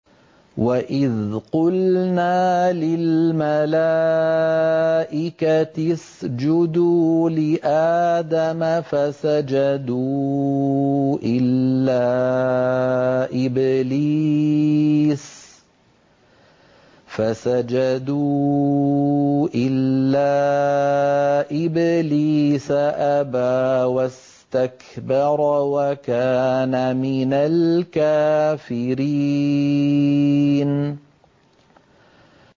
وَإِذْ قُلْنَا لِلْمَلَائِكَةِ اسْجُدُوا لِآدَمَ فَسَجَدُوا إِلَّا إِبْلِيسَ أَبَىٰ وَاسْتَكْبَرَ وَكَانَ مِنَ الْكَافِرِينَ